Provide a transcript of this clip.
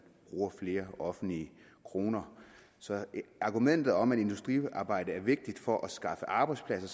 bruger flere offentlige kroner så argumentet om at industrisamarbejde er vigtigt for at skaffe arbejdspladser